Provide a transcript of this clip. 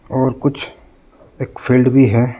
और कुछ एक फील्ड भी है।